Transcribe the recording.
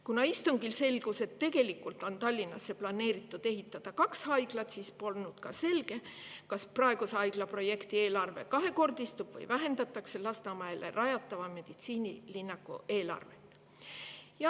Kuna istungil selgus, et tegelikult on Tallinnasse planeeritud ehitada kaks haiglat, siis polnud selge, kas praeguse haiglaprojekti eelarve kahekordistub või vähendatakse Lasnamäele rajatava meditsiinilinnaku eelarvet.